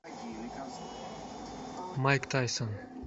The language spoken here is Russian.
майк тайсон